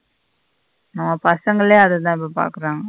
நம்ம பசங்களே அததா இப்போ பாக்குறாங்க.